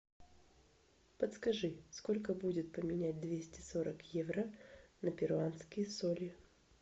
подскажи сколько будет поменять двести сорок евро на перуанские соли